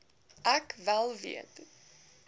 ek wel weet